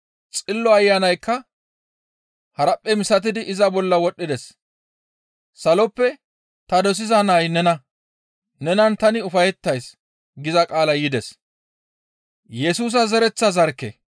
Xillo Ayanaykka haraphphe misatidi iza bolla wodhdhides. «Saloppe, ‹Ta dosiza nay nena; Nenan tani ufayettays› » giza qaalay yides.